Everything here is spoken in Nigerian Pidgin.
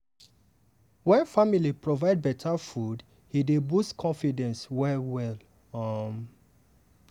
wen family provide better food e dey boost confidence well-well. um